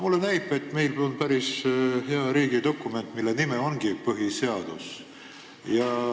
Mulle näib, et meil on päris hea riigidokument, mille nimi on põhiseadus.